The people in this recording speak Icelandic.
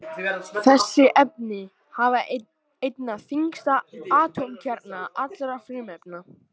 Þessi efni hafa einna þyngsta atómkjarna allra frumefna.